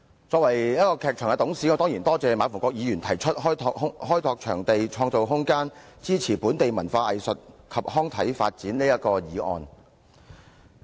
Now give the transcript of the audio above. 作為一個劇團的董事，我當然感謝馬逢國議員提出"開拓場地，創造空間，支持本地文化藝術及康體發展"的議案。